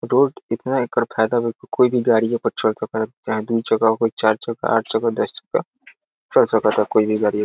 road इतना एकर फायदा बा की कोई भी गाड़ीये पर चढ सके ला | चाहे दू चक्का हो कोई चार चक्का हो आठ चक्का दस चक्का | चल सकता कोई भी गाडी --